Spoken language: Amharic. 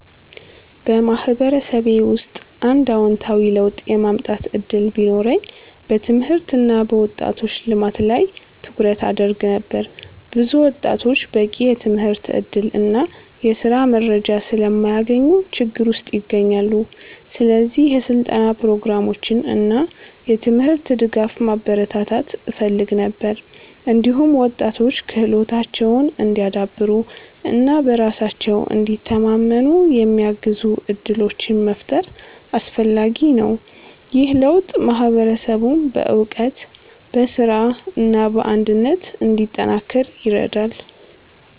በማህበረሰቤ ውስጥ አንድ አዎንታዊ ለውጥ የማምጣት እድል ቢኖረኝ በትምህርት እና በወጣቶች ልማት ላይ ትኩረት አደርግ ነበር። ብዙ ወጣቶች በቂ የትምህርት እድል እና የስራ መረጃ ስለማያገኙ ችግር ውስጥ ይገኛሉ። ስለዚህ የስልጠና ፕሮግራሞችን እና የትምህርት ድጋፍ ማበረታታት እፈልግ ነበር። እንዲሁም ወጣቶች ክህሎታቸውን እንዲያዳብሩ እና በራሳቸው እንዲተማመኑ የሚያግዙ እድሎችን መፍጠር አስፈላጊ ነው። ይህ ለውጥ ማህበረሰቡን በእውቀት፣ በስራ እና በአንድነት እንዲጠናከር ይረዳል።